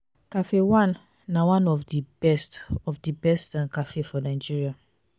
cafe one na one of the best of the best um cafe for nigeria